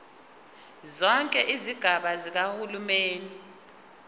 zonke izigaba zikahulumeni